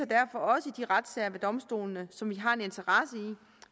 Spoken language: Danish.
derfor også i de retssager ved domstolen som vi har en interesse i